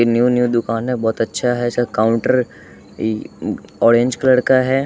ये new new दुकान है बहोत अच्छा है इसका काउंटर ई अ ऑरेंज कलर का है।